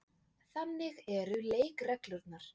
Þannig eru leikreglurnar.